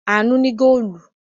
Àánú ní góólù.